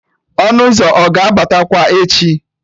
Ọnụ ụzọ ọ ga-abatakwa echi?